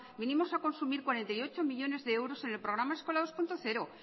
vinimos a consumir cuarenta y ocho millónes de euros en el programa eskola dos punto cero